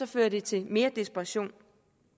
fører det til mere desperation